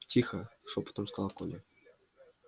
тихо шёпотом сказал коля